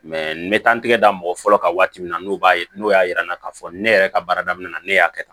n bɛ taa n tɛgɛ da mɔgɔ fɔlɔ kan waati min n'o b'a n'o y'a jira n na k'a fɔ ne yɛrɛ ka baara daminɛna ne y'a kɛ tan